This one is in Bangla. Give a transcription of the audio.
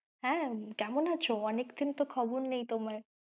হ্যাঁ কেমন আছো? অনেকদিন তো খবর নেই তোমার।